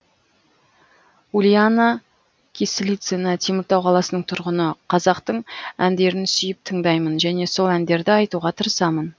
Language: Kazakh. ульяна кислицына теміртау қаласының тұрғыны қазақтың әндерін сүйіп тыңдаймын және сол әндерді айтуға тырысамын